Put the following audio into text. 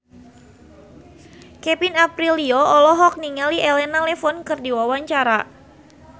Kevin Aprilio olohok ningali Elena Levon keur diwawancara